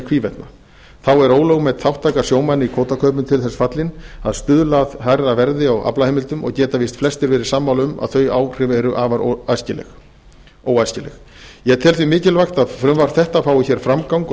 hvívetna þá er ólögtæk þátttaka sjómanna í kvótakaupum til þess fallin að stuðla að hærra verði á aflaheimildum og geta víst flestir verið sammála um að þau áhrif eru afar óæskileg ég tel því mikilvægt að frumvarp þetta fái framgang